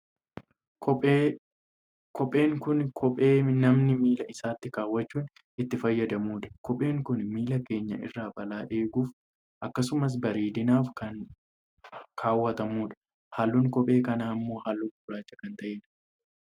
Kophee, kopheen kun kophee namni miila isaatti kaawwachujn itti fayyadamudha. Kopheen kun miila keenya irraa balaa eeguuf akkasumas bareedunaaf kana kaawwatamudha. Halluun kopheen kanaa ammoo halluu gurraach kan ta'ee dha.